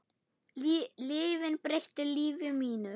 Lyfin breyttu lífi mínu.